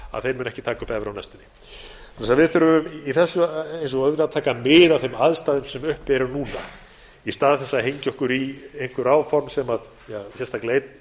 munu ekki taka upp evru á næstunni við þurfum í þessu eins og öðru að taka mið af þeim aðstæðum sem uppi eru núna í stað þess að hengja okkur í einhver áform sem sérstaklega